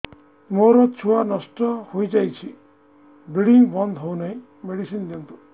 ମୋର ଛୁଆ ନଷ୍ଟ ହୋଇଯାଇଛି ବ୍ଲିଡ଼ିଙ୍ଗ ବନ୍ଦ ହଉନାହିଁ ମେଡିସିନ ଦିଅନ୍ତୁ